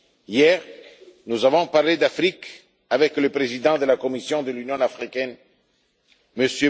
Hier, nous avons parlé d'Afrique avec le président de la Commission de l'Union africaine, M.